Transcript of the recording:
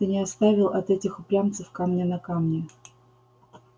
ты не оставил от этих упрямцев камня на камне